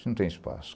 Isso não tem espaço.